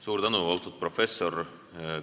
Suur tänu, austatud professor!